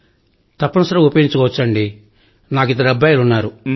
తప్పనిసరిగా ఉపయోగించుకోవచ్చండీ నాకు ఇద్దరు అబ్బాయిలు ఉన్నారు